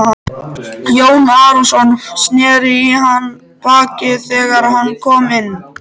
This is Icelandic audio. Jón Arason sneri í hann baki þegar hann kom inn.